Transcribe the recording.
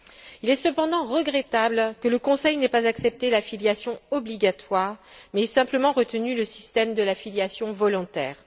Il est cependant regrettable que le Conseil n'ait pas accepté la filiation obligatoire, mais ait simplement retenu le système de la filiation volontaire.